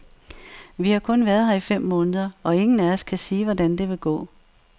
Vi har kun været her i fem måneder, og ingen af os kan sige, hvordan det vil gå.